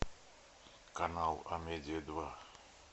канал амедиа два